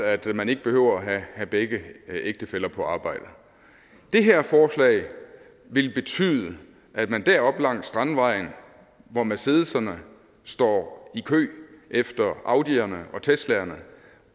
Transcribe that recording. at man ikke behøver at have begge ægtefæller på arbejde det her forslag vil betyde at man deroppe langs strandvejen hvor mercedeserne står i kø efter audierne og teslaerne